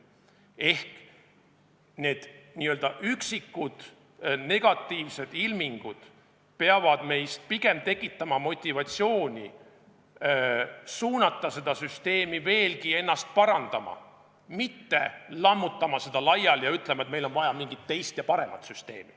Ehk need üksikud negatiivsed ilmingud peavad meis pigem tekitama motivatsiooni suunata seda süsteemi veelgi ennast parandama, mitte lammutama seda laiali ja ütlema, et meil on vaja mingisugust teist ja paremat süsteemi.